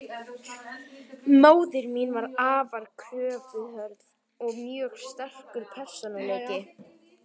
Móðir mín var afar kröfuhörð, og mjög sterkur persónuleiki.